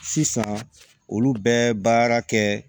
Sisan olu bɛ baara kɛ